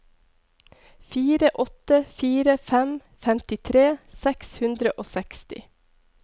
fire åtte fire fem femtitre seks hundre og seksti